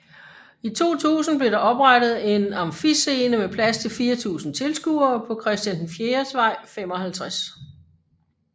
I 2000 blev der oprettet en Amfiscene med plads til 4000 tilskuere på Christian IVs Vej 55